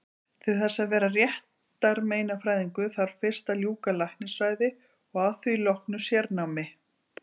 Til þess að verða réttarmeinafræðingur þarf fyrst að ljúka læknisfræði og að því loknu sérnámi.